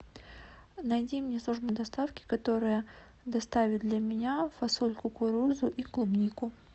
найди мне службу доставки которая доставит для меня фасоль кукурузу и клубнику